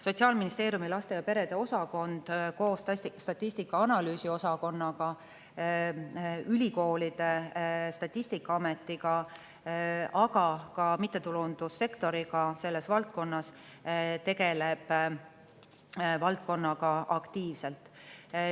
Sotsiaalministeeriumi laste ja perede osakond koos statistika- ja analüüsiosakonnaga, ülikoolide, Statistikaametiga, aga ka mittetulundussektoriga selles valdkonnas tegeleb valdkonnaga aktiivselt.